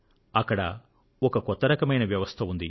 అక్కడ ఒక కొత్త రకమైన వ్యవస్థ ఉంది